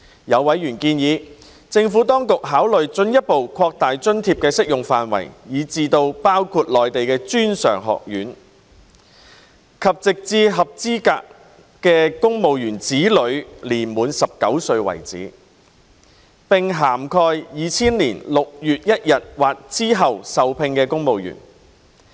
有委員建議政府當局考慮進一步擴大津貼的適用範圍至包括內地專上院校，直至合資格的公務員子女年滿19歲為止，並涵蓋2000年6月1日或之後受聘的公務員。